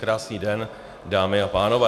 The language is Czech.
Krásný den, dámy a pánové.